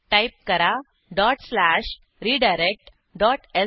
type करा dot slash redirect dot श